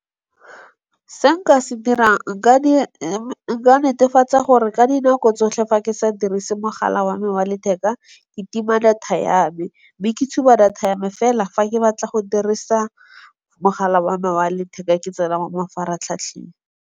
Se nka se dirang nka netefatsa gore ka dinako tsotlhe fa ke sa dirise mogala wa me wa letheka, ke tima data ya me. Be ke tšhuma data ya me fela fa ke batla go dirisa mogala wa me wa letheka ke tsena mo mafaratlhatlheng.